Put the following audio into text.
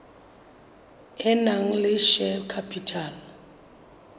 e nang le share capital